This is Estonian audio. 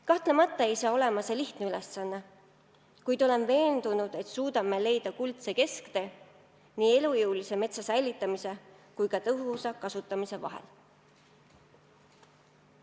Kahtlemata ei saa see olema lihtne ülesanne, kuid olen veendunud, et suudame leida kuldse kesktee elujõulise metsa säilitamise ja metsa tõhusa kasutamise vahel.